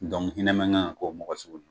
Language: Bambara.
hinɛ man kan ka k'o mɔgɔ sugu la.